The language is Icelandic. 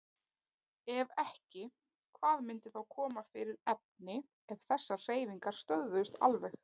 Ef ekki, hvað myndi þá koma fyrir efni ef þessar hreyfingar stöðvuðust alveg?